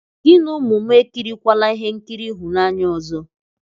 Gị na ụmụ m ekirikwala ihe nkiri ịhụnanya ọzọ!